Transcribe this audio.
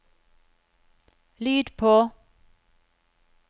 lyd på